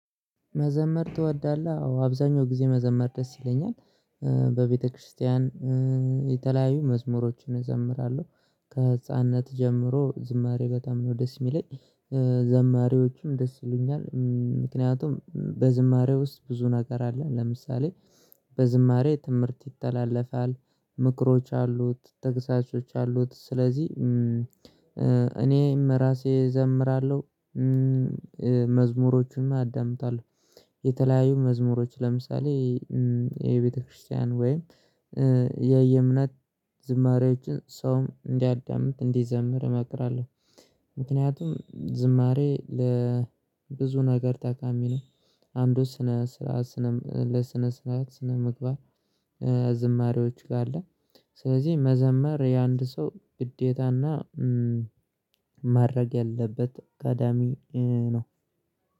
መዘመር ትወዳለህ? አዎ አብዛኛው ጊዜ መዘመር ደስ ይለኛል። በቤተክርስቲያን የተለያዩ መዝሙሮችን እዘምራለሁ ከህፃንነት ጀምሮ ዝማሬ በጣም ነው ደስ የሚለኝ። ዘማሪዎቹም ደስ ይሉኛል ምክንያቱም በዝማሬ ውስጥ ብዙ ነገር አለ። ለምሳሌ በዝማሬ ትምህርት ይተላለፋል ምክሮች አሉት ተግሳሶች አሉት ስለዚህ እኔ ራሴ እዘምራለሁ። መዝሙሮቹም አዳምጣለሁ። የተለያዩ መዝሙሮች ለምሳሌ የቤተክርስቲያን ወይም የየእምነት ዝማሬዎችን ሰውም እንዲያዳምጥ እንዲዘምር እመክራለሁ። ምክንያቱም ዝማሬ ለብዙ ነገር ታካሚ ነው። አንዱ ስነ ስርዓት ስነ ለስነ ስርዓት ስነ ምግባር። ዝማሬዎች ጋር አለ። ስለዚህ መዘመር የአንድ ሰው ግዴታና ማድረግ ያለበት ቀዳሚ ነው።